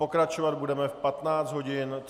Pokračovat budeme v 15 hodin 39 minut.